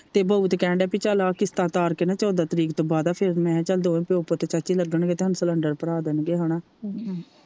ਤੇ ਬਾਊ ਤੇ ਕਹਿਣ ਦੀਆ ਪੀ ਚਲ ਇਹ ਕਿਸਤਾ ਤਾਰ ਕੇ ਨਾ ਚੋਦਾਂ ਤਰੀਕ ਤੋਂ ਬਾਅਦਾ ਫਿਰ ਮੈ ਕਿਹਾ ਚਲ ਦੋਵੇ ਪਿਓ ਪੁੱਤ ਚਾਚੀ ਲਗਣ ਗੇ ਤੇ ਹਾਨੂੰ ਸਿਲੰਡਰ ਭਰਾ ਦੇਣਗੇ ਹੇਨਾ